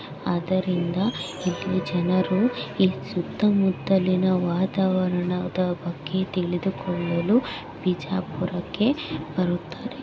ಅದರಿಂದ ಇಲ್ಲಿ ಜನರು ಇಲ್ಲಿ ಸುತ್ತಮುತ್ತಲಿನ ವಾತಾವರಣದ ಬಗ್ಗೆ ತಿಳಿದುಕೊಳ್ಳಲು ಬಿಜಾಪುರಕ್ಕೆ ಬರುತ್ತಾರೆ.